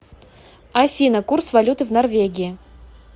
афина курс валюты в норвегии